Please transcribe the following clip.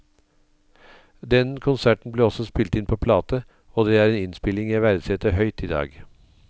Den konserten ble også spilt inn på plate, og det er en innspilling jeg verdsetter høyt i dag.